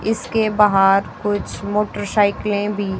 इसके बहार कुछ मोटरसाइकिलें भी--